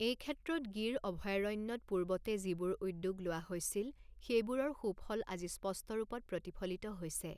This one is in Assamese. এই ক্ষেত্ৰত গিৰ অভয়্যাৰণ্যত পূৰ্বতে যিবোৰ উদ্যোগ লোৱা হৈছিল, সেইবোৰৰ সুফল আজি স্পষ্ট ৰূপত প্ৰতিফলিত হৈছে।